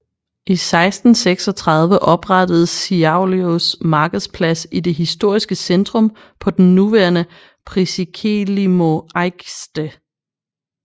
I 1636 oprettedes Šiauliųs markedsplads i det historiske centrum på den nuværende Prisikėlimo aikštė